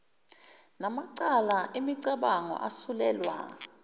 namacala emibango asuselwa